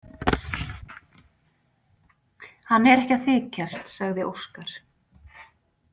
Hann er ekki að þykjast, sagði Óskar.